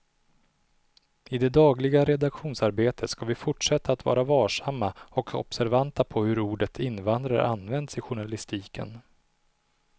I det dagliga redaktionsarbetet ska vi fortsätta att vara varsamma och observanta på hur ordet invandrare används i journalistiken.